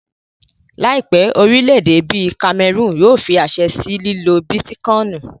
Láìpẹ́, orílẹ̀-èdè bíi kamẹrùnù yóò fí àṣẹ sí lílo bítíkọìnì